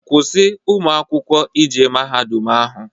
Kwụsị ụmụ akwụkwọ ije mahadum ahụ!